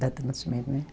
Data de nascimento, né?